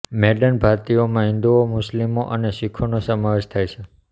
maiden ભારતીયોમાં હિંદુઓ મુસ્લિમો અને શીખોનો સમાવેશ થાય છે